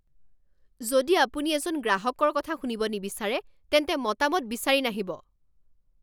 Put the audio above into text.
যদি আপুনি এজন গ্ৰাহকৰ কথা শুনিব নিবিচাৰে তেন্তে মতামত বিচাৰি নাহিব